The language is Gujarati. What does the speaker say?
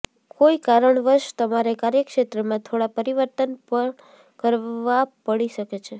કોઈ કારણ વશ તમારે કાર્યક્ષેત્રમાં થોડા પરિવર્તન પણ કરવા પડી શકે છે